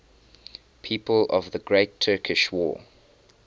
people of the great turkish war